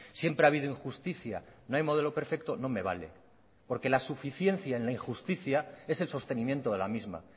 siempre ha habido injusticia no hay modelo perfecto no me vale porque la suficiencia en la injusticia es el sostenimiento de la misma